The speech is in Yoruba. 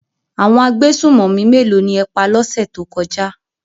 Àwọn agbésùnmọ̀mí méèló ni ẹ pa lọ́sẹ̀ tó kọjá?